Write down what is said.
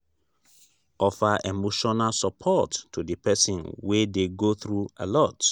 offer emotional support to di person wey dey go through alot